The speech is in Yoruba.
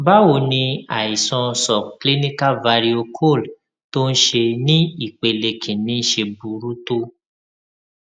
báwo ni àìsàn subclinical varicoele tó ń ṣe ní ìpele kinni ṣe burú tó